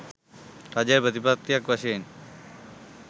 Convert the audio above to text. රජය ප්‍රතිපත්තියක් වශයෙන්